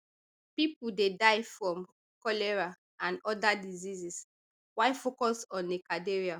pipo dey die from cholera and oda diseases why focus on a cathedral